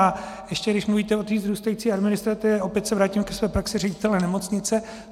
A ještě když mluvíte o té vzrůstající administrativě - opět se vrátím ke své praxi ředitele nemocnice.